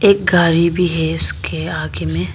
एक गाड़ी भी है उसके आगे में।